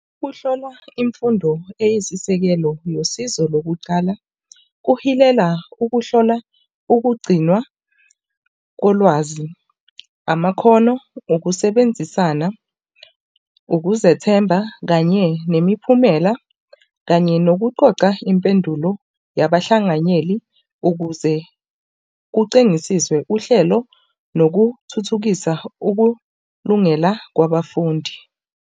Ukuhlola imfundo eyisisekelo losizo lokucala kuhilela ukuhlola ukugcinwa kolwazi, amakhono, ukusebenzisana, ukuzethemba, kanye nemiphumela kanye nokuxoxa impendulo yabahlanganyeli ukuze kucingisiswe uhlelo nokuthuthukisa ukulungela kwabafundi.